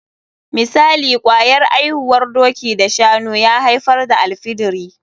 Misali, kwayar aihuwar doki da shanu ya aifar da alfidiri.